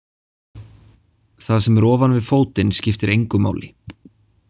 Það sem er ofan við fótinn skiptir engu máli.